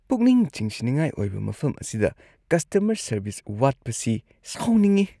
ꯄꯨꯛꯅꯤꯡ ꯆꯤꯡꯁꯤꯟꯅꯤꯡꯉꯥꯏ ꯑꯣꯏꯕ ꯃꯐꯝ ꯑꯁꯤꯗ ꯀꯁꯇꯃꯔ ꯁꯔꯚꯤꯁ ꯋꯥꯠꯄꯁꯤ ꯑꯁꯤ ꯁꯥꯎꯅꯤꯡꯏ ꯫